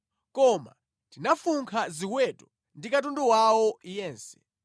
Koma tinafunkha ziweto ndi katundu wawo yense.